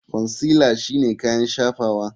Consealer shine kayan shafawa.